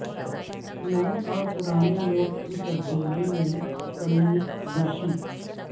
نئے اور پرانے نوٹ کی تبدیلی میں کمی بیشی